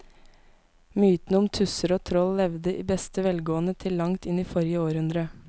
Mytene om tusser og troll levde i beste velgående til langt inn i forrige århundre.